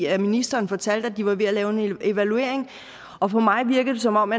at ministeren fortalte at de var ved at lave en evaluering og for mig virker det som om